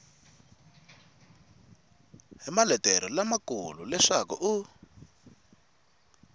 hi maletere lamakulu leswaku i